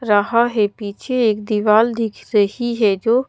रहा है पीछे एक दीवाल दिख रही है जो--